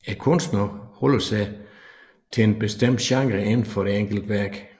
Kunstneren holder sig til en bestemt genre inden for det enkelte værk